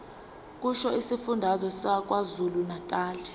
kusho isifundazwe sakwazulunatali